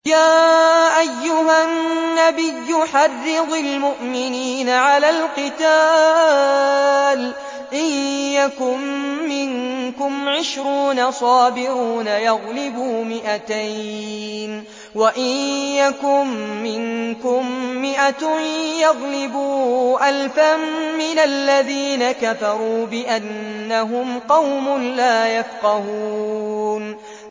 يَا أَيُّهَا النَّبِيُّ حَرِّضِ الْمُؤْمِنِينَ عَلَى الْقِتَالِ ۚ إِن يَكُن مِّنكُمْ عِشْرُونَ صَابِرُونَ يَغْلِبُوا مِائَتَيْنِ ۚ وَإِن يَكُن مِّنكُم مِّائَةٌ يَغْلِبُوا أَلْفًا مِّنَ الَّذِينَ كَفَرُوا بِأَنَّهُمْ قَوْمٌ لَّا يَفْقَهُونَ